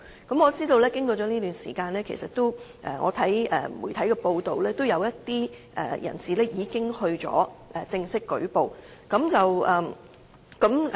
據我所知，經過這段時間，根據媒體的報道，也有一些人士已作出正式舉報。